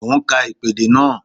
Mo ń ka ìpèdè náà